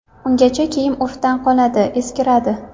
Ungacha kiyim urfdan qoladi, eskiradi.